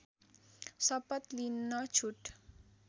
शपथ लिन छुट